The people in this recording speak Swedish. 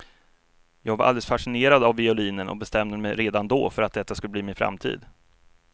Jag var alldeles fascinerad av violinen och bestämde mig redan då för att detta skulle bli min framtid.